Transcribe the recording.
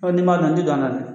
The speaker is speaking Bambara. Ɔ ni man dɔn n tɛ